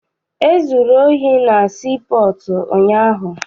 E zuru ohi na sii pọọtụ ụnyaahụ.